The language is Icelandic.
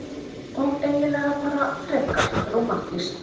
Og eiginlega bara frekar rómantískt.